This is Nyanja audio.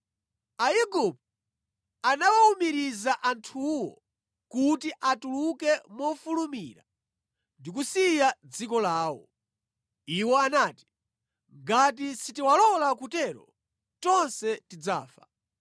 Aigupto anawawumiriza anthuwo kuti atuluke mofulumira ndi kusiya dziko lawo. Iwo anati, “Ngati sitiwalola kutero, tonse tidzafa.”